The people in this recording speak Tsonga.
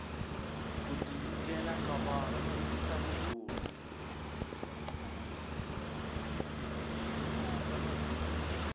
ku tinyikela ka vanhu ku tisa ku rhulu